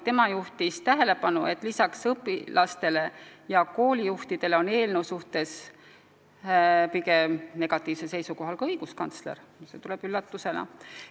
Tema juhtis tähelepanu, et lisaks õpilastele ja koolijuhtidele on eelnõu suhtes pigem negatiivsel seisukohal ka õiguskantsler, mis tuleb üllatusena.